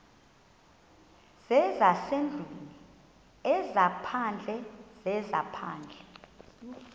zezasendlwini ezaphandle zezaphandle